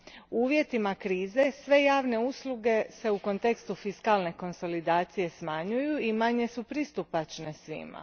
U uvjetima krize sve javne usluge se u kontekstu fiskalne konsolidacije smanjuju i manje su pristupačne svima.